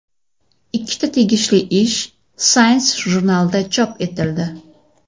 Ikkita tegishli ish Science jurnalida chop etildi .